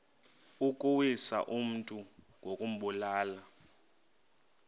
ukuwisa umntu ngokumbulala